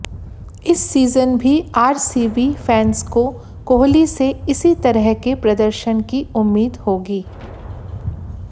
इस सीजन भी RCB fans को कोहली से इसी तरह के प्रदर्शन की उम्मीद होगी